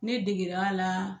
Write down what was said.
Ne deger'a la